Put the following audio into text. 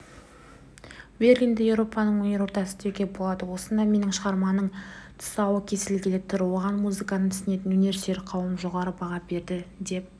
берлинді еуропаның өнер ордасы деуге болады осында менің шығармамның тұсауы кесілгелі тұр оған музыканы түсінетін өнерсүйер қауым жоғары баға береді деп